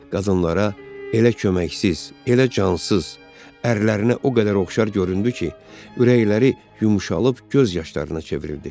qadınlara elə köməksiz, elə cansız ərlərinə o qədər oxşar göründü ki, ürəkləri yumşalıb göz yaşlarına çevrildi.